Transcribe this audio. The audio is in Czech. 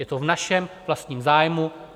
Je to v našem vlastním zájmu.